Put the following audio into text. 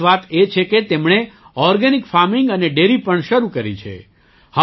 ખાસ વાત એ છે કે તેમણે ઑર્ગેનિક ફાર્મિંગ અને ડૅરી પણ શરૂ કરી છે